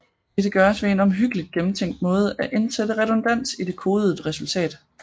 Dette gøres ved på en omhyggeligt gennemtænkt måde at indsætte redundans i det kodede resultat